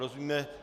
Rozumíme?